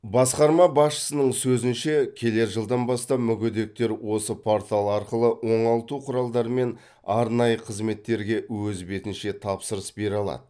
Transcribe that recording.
басқарма басшысының сөзінше келер жылдан бастап мүгедектер осы портал арқылы оңалту құралдары мен арнайы қызметтерге өз бетінше тапсырыс бере алады